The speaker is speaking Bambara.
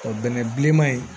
Ɔ bɛnɛ bilenman in